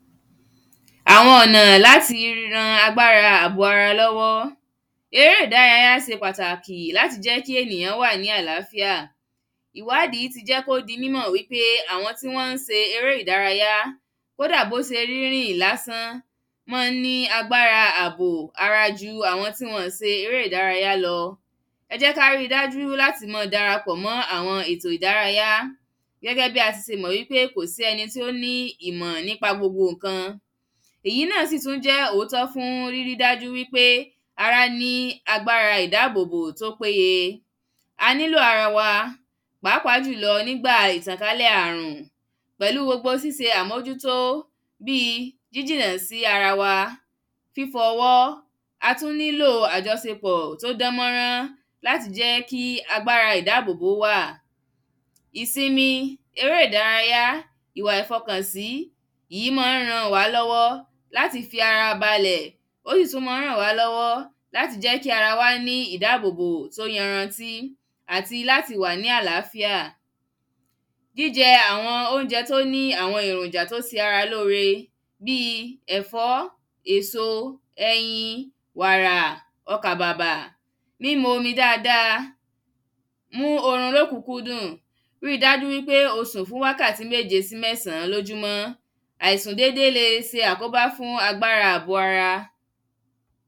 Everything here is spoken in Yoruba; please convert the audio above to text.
àwọn ọ̀nà láti ran agbára ààbò ara lọ́wọ́ eré ìdárayá se pàtàkì láti jẹ́ kí ènìyàn wà ní àláfíà ìwáàdí ti jẹ́ kí ó di mímọ̀ pé àwọn tí wọ́n ń se eré ìdárayá, kódà kó se rírìn lásán máa ń ní agbára àbò ara ju àwọn tí wọn ọ̀n se eré ìdárayá lọ ẹ jẹ́ kári dájú láti mọn darapọ̀ mọ́ àwọn ètò ìdárayá gẹ́gẹ́ bí a ti se mọ̀ wípé kò sí ẹni tí ó ní ìmọ̀ nípa gbogbo ǹkan èyí náà sì tún jẹ́ òótọ́ fún rírí dájú wípé ará ní agbára ìdáàbòbò tó péye a nílò ara wa pàápàá jùlọ nígbà ìtànkálẹ̀ àrùn pẹ̀lú gbogbo síse àmójútó bíi jíjìnà sí ara wa, fífọ ọwọ́ a tún nílò àjọsepọ̀ tó dánmọ́nrán láti jẹ́ kí agbára ìdáàbòbò wáà ìsinmi, eré ìdárayá, ìwà ìfọkànsí, ìyí mọ́n ń ràn wá lọ́wọ́ láti fi ara balẹ̀ ó sì tún mọn ń ràn wá lọ́wọ́ láti jẹ́ kí ara wa ní ìdáàbòbò tó yanrantí àti láti wà ní àláfíà jíjẹ àwọn oúnjẹ tó ní àwọn èròjà tó se ara lóore bíi ẹ̀fọ́, èso, ẹyin, wàrà, ọkàbàbà mímu omi dáadáa mú orun lóòkúnkúndùn ríi dájú wípé o sùn fún wákàtí méje sí mẹ́sàn-án lójúmọ́ àìsùn dédé le se àkóbá fún agbára àbò ara.